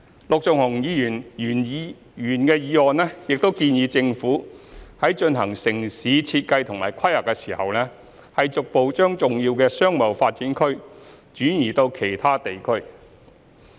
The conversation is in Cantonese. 陸頌雄議員的原議案建議政府在進行城市設計及規劃時，逐步將重要的商貿發展區轉移至其他地區。